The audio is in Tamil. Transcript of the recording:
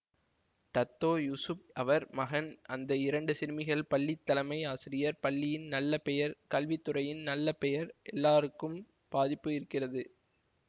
டத்தோ யூசுப் அவர் மகன் அந்த இரண்டு சிறுமிகள் பள்ளி தலைமை ஆசிரியர் பள்ளியின் நல்ல பெயர் கல்வி துறையின் நல்ல பெயர் எல்லாருக்கும் பாதிப்பு இருக்கிறது